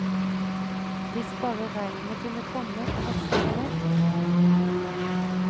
Hvis bare regnet kunne komme og vaske det vekk.